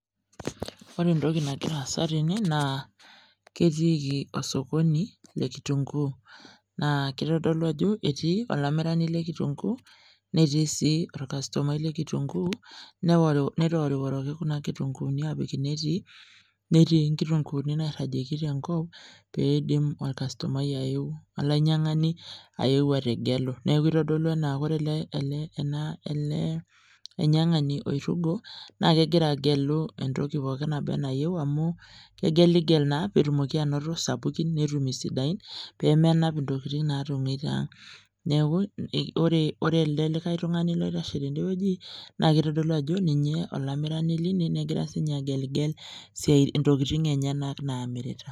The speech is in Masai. ore entoki nagira aasa tene naa ktiiki osokoni lekitunkuu naa keitodolu ajo etii olamirani lekitunkuu netii sii orkastomai le kitunkuu netoworiworoki kuna kitunkuuni apik inetii netii inktunkuuni nairagieki tenkop peeidim olainyang'ani ayeu ategelu neeku etodolu ena ele ainyang'ani oirugo naa kegira agelu entokii pooki naba nayieu amu kegeligel naa peetumoki anoto isapikin netum isidain peemenap intokiting' naatong'ueita neeku ore elde likae tung'ani oitashe tende weji naa keitodolu ajo ninye olamirani teine negira sinye ageligel ebtokiting' enyenak naamirita